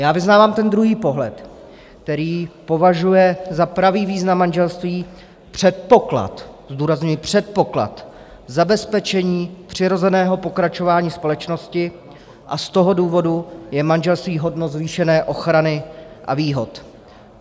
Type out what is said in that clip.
Já vyznávám ten druhý pohled, který považuje za pravý význam manželství předpoklad, zdůrazňuji, předpoklad zabezpečení přirozeného pokračování společnosti, a z toho důvodu je manželství hodno zvýšené ochrany a výhod.